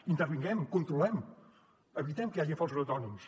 intervinguem controlem evitem que hi hagi falsos autònoms